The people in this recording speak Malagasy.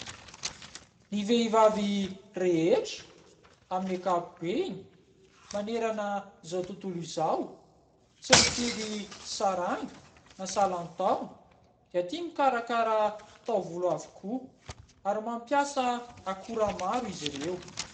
Ny vehivavy rehetra amin'ny ankapobeny manerana izao tontolo izao, tsy mifidy saranga, na salan-taona, dia tia mikarakara taovolo avokoa ary mampiasa akora maro izy ireo.